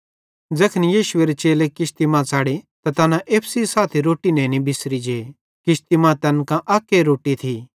ज़ैखन यीशुएरे चेले किश्ती मां च़ढ़े त तैना एप्पू सेइं साथी रोट्टी नेनी बिसरी जे किश्ती मां तैन कां अक्के रोट्टी थी